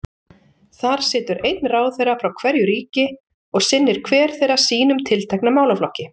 Þar situr einn ráðherra frá hverju ríki og sinnir hver þeirra sínum tiltekna málaflokki.